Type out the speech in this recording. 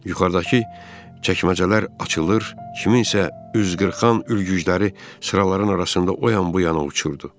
Yuxarıdakı çəkməcələr açılır, kimsənin üz qırxan ülgücləri sıraların arasında o yan-bu yana uçurdu.